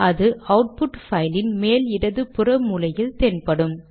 அது அவுட்புட் பைலின் மேல் இடது புற மூலையில் தென்படும்